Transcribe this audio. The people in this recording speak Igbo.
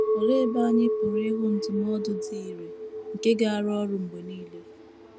Olee ebe anyị pụrụ ịhụ ndụmọdụ dị irè nke ga - arụ ọrụ mgbe nile?